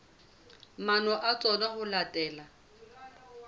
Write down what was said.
maano a tsona ho latela